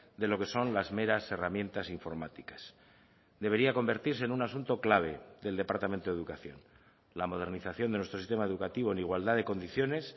de lo que son las meras herramientas informáticas debería convertirse en un asunto clave del departamento de educación la modernización de nuestro sistema educativo en igualdad de condiciones